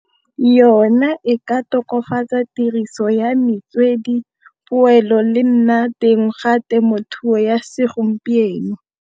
Yona e ka tokafatsa tiriso ya metswedi, poelo le nna teng ga temothuo ya segompieno.